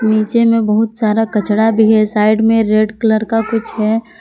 नीचे में बहुत सारा कचड़ा भी है साइड में रेड कलर का कुछ है।